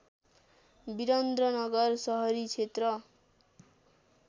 विरन्द्रनगर सहरी क्षेत्र